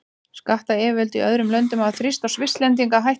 Skattyfirvöld í öðrum löndum hafa þrýst á Svisslendinga að hætta þessu.